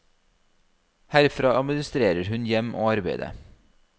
Herfra administrerer hun hjem og arbeide.